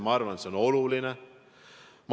Ma arvan, et see on oluline.